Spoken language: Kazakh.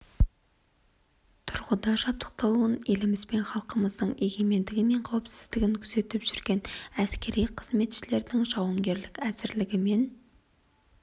тұрғыда жабдықталуын еліміз бен халқымыздың егемендігі мен қауіпсіздігін күзетіп жүрген әскери қызметшілердің жауынгерлік әзірлігі мен